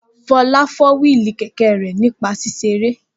Fọlá fọ́ wíìlì kẹ̀kẹ́ rẹ̀ nípa ṣíṣe eré